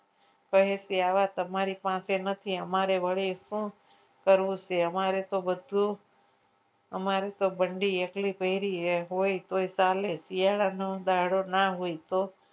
કહે આ તમારી પાસે નથી અમારી વળી શું કરવું છે અમારે તો બધું અમારે તો બંડી એટલી પહેરીએ એ હોય તો ચાલે શિયાળાનો દાડો ના હોય તો